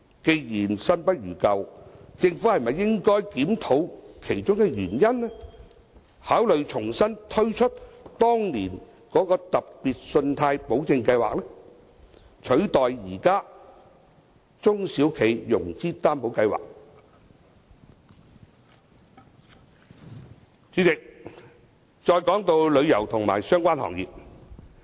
既然新不如舊，政府是否應該檢討當中的原因，考慮重新推出當年的特別信貸保證計劃，取代現時的中小企融資擔保計劃。主席，說一說旅遊及相關行業。